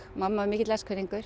mamma var mikill